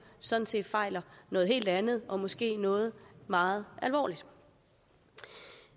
sådan set fejler noget helt andet og måske noget meget alvorligt